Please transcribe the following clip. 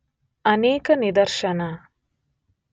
ಅನೇಕ ನಿದರ್ಶನ